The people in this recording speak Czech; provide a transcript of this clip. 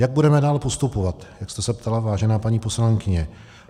Jak budeme dále postupovat, jak jste se ptala, vážená paní poslankyně.